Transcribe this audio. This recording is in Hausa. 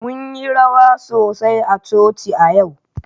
Mun yi rawa sosai a coci a yau.